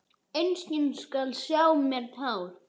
Enginn skal sjá á mér tár.